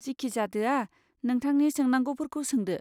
जिखिजादोया, नोंथांनि सोंनांगौफोरखौ सोंदो।